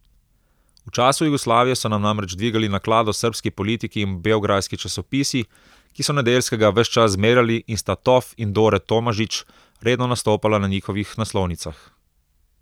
V času Jugoslavije so nam namreč dvigali naklado srbski politiki in beograjski časopisi, ki so Nedeljskega ves čas zmerjali in sta Tof in Dore Tomažič redno nastopala na njihovih naslovnicah.